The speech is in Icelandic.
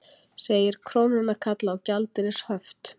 Segir krónuna kalla á gjaldeyrishöft